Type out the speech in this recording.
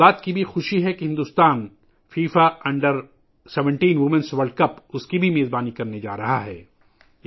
مجھے اس بات کی بھی خوشی ہے کہ بھارت فیفا کے 17 سال سے کم عمر کی خواتین کے عالمی کپ کی بھی میزبانی کرنے جا رہا ہے